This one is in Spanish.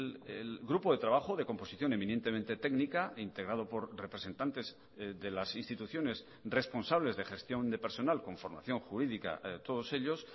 el grupo de trabajo de composición eminentemente técnica integrado por representantes de las instituciones responsables de gestión de personal con formación jurídica todos ellos